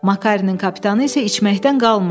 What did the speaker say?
Makarinin kapitanı isə içməkdən qalmırdı.